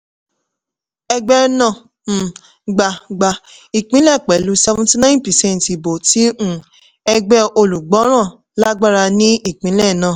ẹgbẹ́ náà um gba gba ìpínlẹ̀ pẹ̀lú seventy nine percent ìbò tí um ẹgbẹ́ olùgbọ́ràn lágbára ní ìpínlẹ̀ náà.